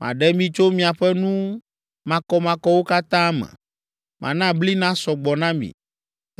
Maɖe mi tso miaƒe nu makɔmakɔwo katã me. Mana bli nasɔ gbɔ na mi,